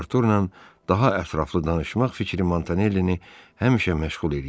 Arturla daha ətraflı danışmaq fikri Montanellini həmişə məşğul eləyirdi.